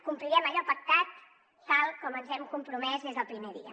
complirem allò pactat tal com ens hi hem compromès des del primer dia